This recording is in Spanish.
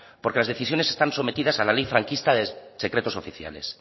porque las decisiones están sometidas a la ley franquista de secretos oficiales